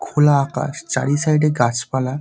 খোলা আকাশ চারি সাইডে গাছপালা।